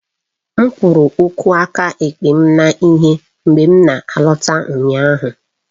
M kụrụ ụkwụ aka ekpe m na ihe mgbe m na-alọta ụnyaahụ